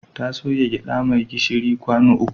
Ta soya gyaɗa mai gishiri kwano uku.